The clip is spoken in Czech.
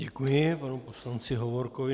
Děkuji panu poslanci Hovorkovi.